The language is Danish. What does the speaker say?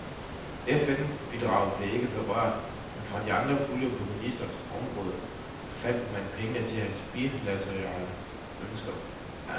FN-bidraget blev ikke berørt, men fra andre puljer på ministeriets område fandt man pengene til hans bilaterale ønsker.